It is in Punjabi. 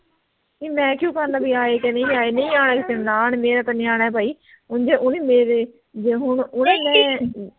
ਨੀ ਮੈਂ ਕਿਉਂ ਕਰਨਾ ਬੀ ਆਏ ਕੀ ਨਹੀਂ ਆਏ ਨਹੀਂ ਆਏ ਤਾਂ ਨਾ ਆਣ ਮੇਰਾ ਤਾਂ ਨਿਆਣਾ ਆ ਭਾਈ ਉਹ ਉਹ ਵੀ ਮੇਰੇ ਤੇ ਹੁਣ ਓਹਦੇ ਮੈਂ